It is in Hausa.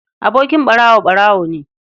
Abokin ɓarawo, ɓarawo ne.